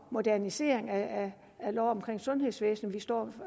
modernisering af loven om sundhedsvæsenet vi står